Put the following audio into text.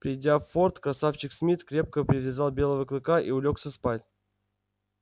придя в форт красавчик смит крепко привязал белого клыка и улёгся спать